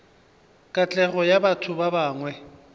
katlego ya batho ba bangwe